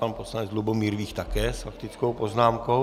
Pan poslanec Lubomír Vích také s faktickou poznámkou?